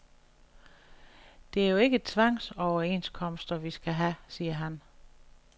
Det er jo ikke tvangsoverenskomster, vi skal have, siger han.